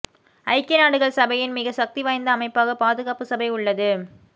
ஐக்கிய நாடுகள் சபையின் மிகச் சக்தி வாய்ந்த அமைப்பாக பாதுகாப்பு சபை உள்ளது